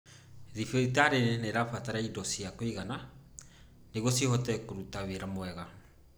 Thibitari nĩ irabatara indo cia kũigana nĩguo cihote kũruta wĩra wega.